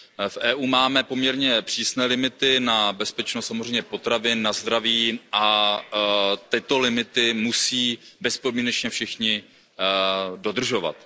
V EU máme poměrně přísné limity na bezpečnost samozřejmě potravin, na zdraví a tyto limity musí bezpodmínečně všichni dodržovat.